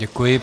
Děkuji.